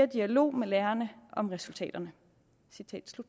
dialog med lærerne om resultaterne